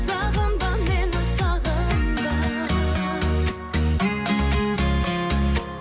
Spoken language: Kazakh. сағынба мені сағынба